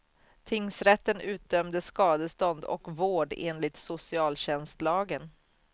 Tingsrätten utdömde skadestånd och vård enligt socialtjänstlagen.